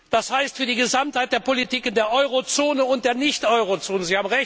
Das heißt für die Gesamtheit der Politiken der Eurozone und der Nicht Eurozone.